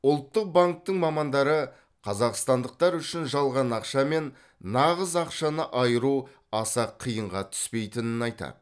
ұлттық банктің мамандары қазақстандықтар үшін жалған ақша мен нағыз ақшаны айыру аса қиынға түспейтінін айтады